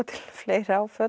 fleiri áföll